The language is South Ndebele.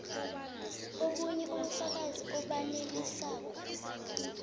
obunye ubufakazi obanelisako